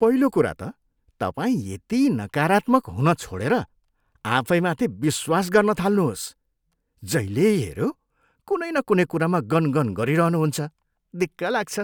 पहिलो कुरा त तपाईँ यति नकारात्मक हुन छोडेर आफैमाथि विश्वास गर्न थाल्नुहोस्। जहिल्यै हेऱ्यो, कुनै न कुनै कुरामा गनगन गरिरहनुहुन्छ। दिक्क लाग्छ!